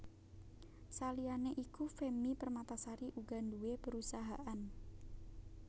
Saliyané iku Femmy Permatasari uga nduwé perusahaan